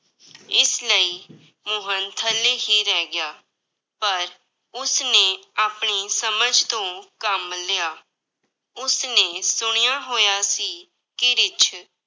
ਇਸ ਲਈ ਮੋਹਨ ਥੱਲੇ ਹੀ ਰਹਿ ਗਿਆ, ਪਰ ਉਸਨੇ ਆਪਣੀ ਸਮਝ ਤੋਂ ਕੰਮ ਲਿਆ, ਉਸਨੇ ਸੁਣਿਆ ਹੋਇਆ ਸੀ ਕਿ ਰਿੱਛ